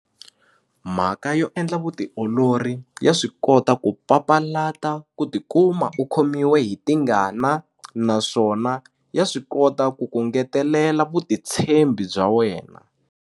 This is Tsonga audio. Mhaka yo endla vutiolori ya swi kota ku papalata ku tikuma u khomiwe hi tingana naswona ya swi kota ku ku ngetelela vutitshembi bya wena.